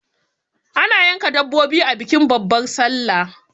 ana yanka dabbobi a bikin babbar sallah